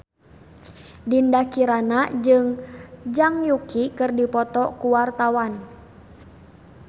Dinda Kirana jeung Zhang Yuqi keur dipoto ku wartawan